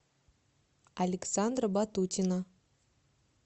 александра батутина